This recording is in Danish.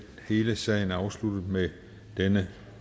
hele sagen er afsluttet med denne